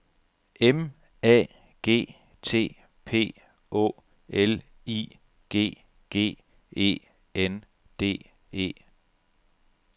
M A G T P Å L I G G E N D E